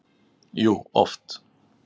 Jú, oft.